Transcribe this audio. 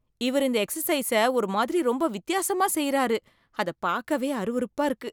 இவர் இந்த எக்சசைஸ்ச ஒரு மாதிரி ரொம்ப வித்தியாசமா செய்யறாரு, அதப் பாக்கவே அருவருப்பா இருக்கு.